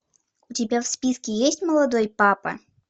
у тебя в списке есть молодой папа